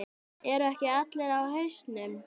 Eru ekki allir á hausnum?